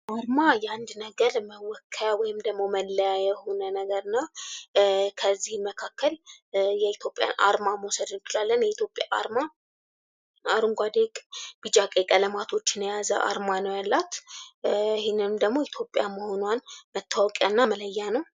አርማ የአንድ ነገር መወከያ ወይም ደግሞ መለያ የሆነ ነገር ነው። ከዚህም መካከል የኢትዮጵያ አርማ መውሰድ እንችላለን የኢትዮጵያ አርማ አረንጓዴ ቢጫ ቀይ ቀለማቶችን የያዘ አርማ ነው ያላት ይህንንም ደግሞ ኢትዮጵያ መሆኗን መታወቂያ እና መለያ ነው።